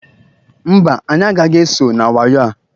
Mba, anyị agaghị eso na wayo a.